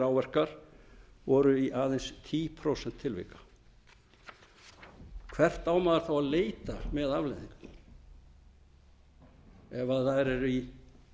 áverkar voru í aðeins tíu prósent tilvika hvert á maður þá að leita með afleiðingarnar ef það er í